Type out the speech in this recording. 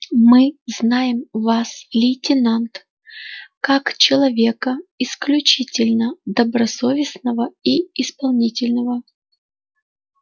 мы знаем вас лейтенант как человека исключительно добросовестного и исполнительного